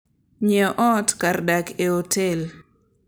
Ng'iewo ot kar dak e otel.